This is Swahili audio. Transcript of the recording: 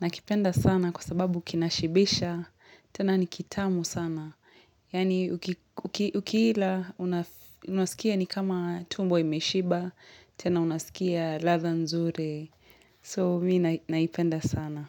Nakipenda sana kwa sababu kinashibisha, tena ni kitamu sana. Yaani ukiila, unaskia ni kama tumbo imeshiba, tena unaskia ladha nzuri. So mimi naipenda sana.